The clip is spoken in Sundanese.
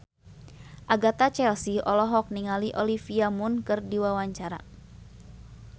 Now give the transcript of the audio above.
Agatha Chelsea olohok ningali Olivia Munn keur diwawancara